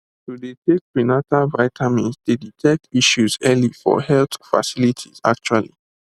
to dey take prenatal vitamins dey detect issues early for health facilities actually